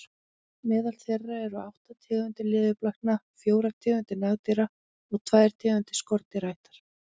Meðal þeirra eru átta tegundir leðurblakna, fjórar tegundir nagdýra og tvær tegundir skordýraætna.